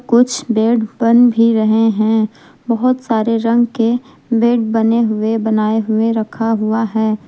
कुछ बेड बन भी रहे हैं बहोत सारे रंग के बेड बने हुए बनाए हुए रखा हुआ है।